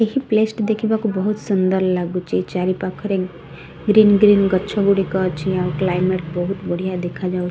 paste ଦେଖିବାକୁ ବହୁତ ସୁଂଦର ଲାଗୁଛି ଚାରିପାଖରେ ଗୀଇନ ଗୀଇନ ଗଛ ଗୁଡିକ ଅଛି ଆଉ --